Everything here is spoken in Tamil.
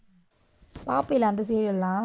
பார்ப்பே இல்ல அந்த serial எல்லாம்?